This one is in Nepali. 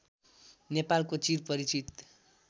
नेपालको चिर परिचित